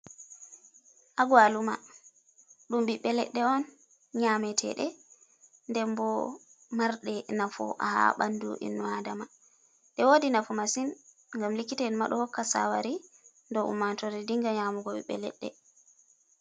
Agauluma ɗum ɓiɓbe leɗɗe on, nyameteɗe den bo marɗe nafu ha ɓandu innua'dama, ɗe wodi nafu masin gam likita en ma ɗohokka sawari do ummato're dinga nyamugo ɓiɓbe leɗɗe.